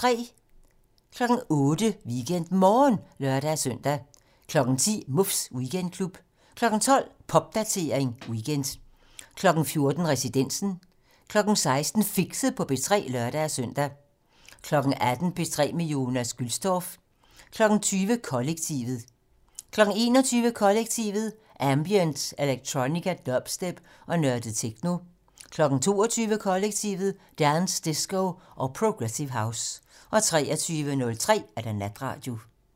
08:00: WeekendMorgen (lør-søn) 10:00: Muffs Weekendklub 12:00: Popdatering weekend 14:00: Residensen 16:00: Fixet på P3 (lør-søn) 18:00: P3 med Jonas Gülstorff 20:00: Kollektivet 21:00: Kollektivet: Ambient, electronica, dubstep og nørdet techno 22:00: Kollektivet: Dance, disco og progressive house 23:03: Natradio